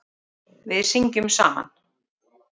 Við syngjum saman.